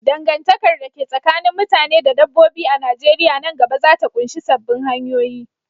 Dangantakar da ke tsakanin mutane da dabbobi a Najeriya nan gaba za ta ƙunshi sabbin hanyoyi.